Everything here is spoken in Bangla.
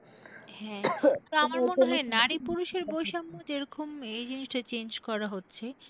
হ্যাঁ যেরকম এই জিনিসটা change করা হচ্ছে।